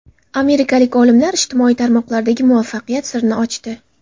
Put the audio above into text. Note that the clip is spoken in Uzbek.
Amerikalik olimlar ijtimoiy tarmoqlardagi muvaffaqiyat sirini ochdi.